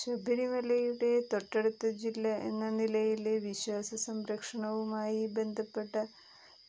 ശബരിമലയുടെ തൊട്ടടുത്ത ജില്ല എന്ന നിലയില് വിശ്വാസ സംരക്ഷണവുമായി ബന്ധപ്പെട്ട